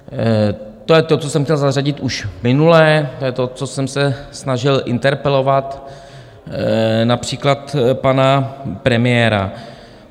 To je to, co jsem chtěl zařadit už minule, to je to, co jsem se snažil interpelovat například pana premiéra.